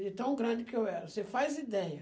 De tão grande que eu era, você faz ideia.